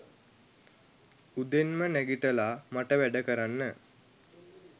උදෙන්ම නැගිටලා මට වැඩ කරන්න